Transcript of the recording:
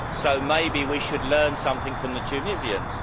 So maybe we should learn something from the Tunisians.